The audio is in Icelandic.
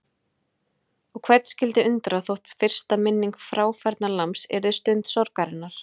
Og hvern skyldi undra þótt fyrsta minning fráfærnalambs yrði stund sorgarinnar.